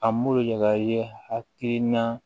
A m'o yagayi hakilina